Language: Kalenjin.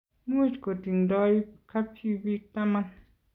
much kutingdoi kabchi biik taman